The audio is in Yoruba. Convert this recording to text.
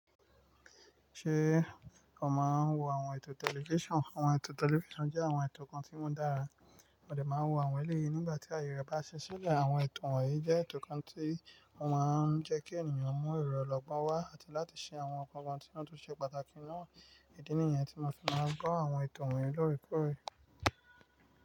Ṣé o máa ń wo àwọn ètò tẹlifíṣàn? Àwọn ètò tẹlifíṣàn jẹ́ àwọn ètò kan tí wọ́n dára, mo dè máa ń wo àwọn ẹlẹ́yìí nígbà tí ayẹyẹ bá ṣe sílẹ̀. Àwọn ètò wọ̀nyí jẹ́ ètò kan tí ó máa ń jẹ́ kí ènìyàn mú èrò lọ́gbọ́n wá àti láti ṣe àwọn nǹkan kan tí wọ́n tó ṣe pàtàkì náà. Idí nìyẹn tí mo fi máa ń gbọ́ àwọn ètò wọ̀nyí loore koore.